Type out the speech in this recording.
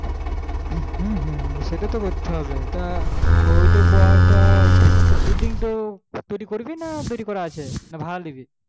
হুম হুম সেটাই কর তা building তো তৌরি করবি না করা আছে